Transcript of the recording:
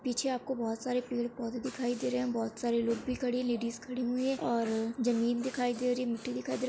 पीछे आपको बहुत सारे पेड़-पौधे दिखाई दे रहे है बहुत सारे लोग भी खड़े है लेडिस खड़ी हुई है और जमीन दिखाई दे रही है मिट्टी दिखाई दे रहा है।